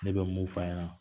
Ne bɛ mun f'an ɲɛna